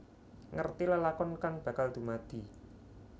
Ngerti lelakon kang bakal dumadi